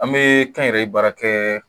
An bɛ kɛnyɛrɛye baara kɛ